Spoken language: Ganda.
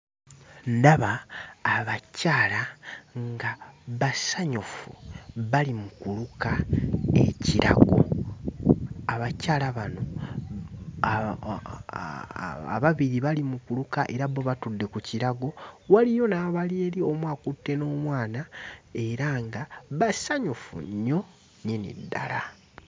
Ndaba abakyala nga basanyufu bali mu kuluka ekirago. Abakyala bano aaa ababiri bali mu kuluka era bo batudde ku kirago, waliyo n'abali eri omu akutte n'omwana era nga basanyufu nnyo nnyini ddala.